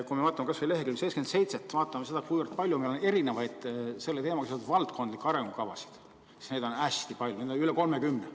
Kui me vaatame kas või lehekülge 77, vaatame seda, kui palju on erinevaid selle teemaga seotud valdkondlikke arengukavasid, siis näeme, et neid on hästi palju, üle 30.